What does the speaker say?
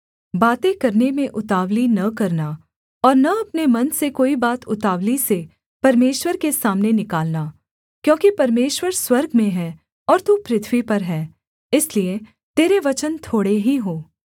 बातें करने में उतावली न करना और न अपने मन से कोई बात उतावली से परमेश्वर के सामने निकालना क्योंकि परमेश्वर स्वर्ग में हैं और तू पृथ्वी पर है इसलिए तेरे वचन थोड़े ही हों